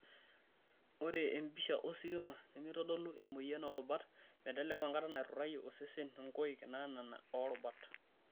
Ore empisha ositima nemeitodolu emoyian oorubat meteleku enkata naiturayie osesen nkoik naanana oorubat.